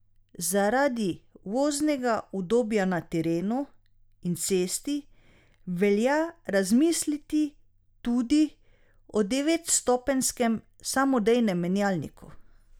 Zaradi voznega udobja na terenu in cesti velja razmisliti tudi o devetstopenjskem samodejnem menjalniku.